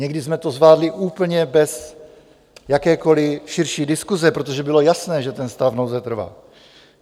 Někdy jsme to zvládli úplně bez jakékoliv širší diskuse, protože bylo jasné, že ten stav nouze trvá.